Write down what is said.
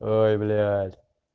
ой блять